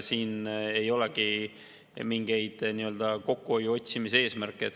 Siin ei olegi mingeid kokkuhoiu otsimise eesmärke.